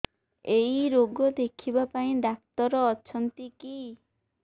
ଏଇ ରୋଗ ଦେଖିବା ପାଇଁ ଡ଼ାକ୍ତର ଅଛନ୍ତି କି